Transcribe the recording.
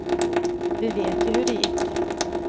Vi vet ju hur det gick.